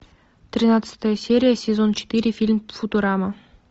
тринадцатая серия сезон четыре фильм футурама